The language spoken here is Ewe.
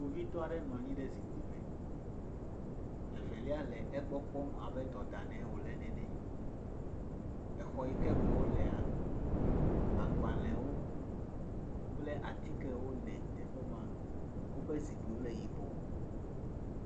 Kpovitɔ aɖe nɔ anyi ɖe zikpui m, evelia le egbɔ kpɔm abe dɔ dam nɛ wòle nene, exɔ yike me wolea, agbalɣwo kple atikewo le teƒe ma, woƒe zikpuiwo le yibɔɔ.